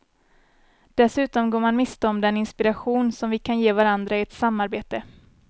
Dessutom går man miste om den inspiration som vi kan ge varandra i ett samarbete.